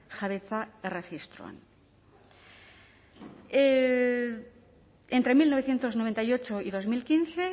jabetza erregistroan entre mil novecientos noventa y ocho y dos mil quince